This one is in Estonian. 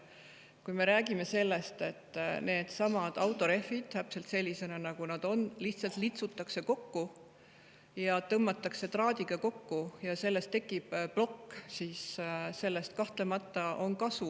Kui me räägime sellest, et needsamad autorehvid täpselt sellisena, nagu nad on, lihtsalt litsutakse kokku, tõmmatakse traadiga kokku ja sellest tekib plokk, siis sellest kahtlemata on kasu.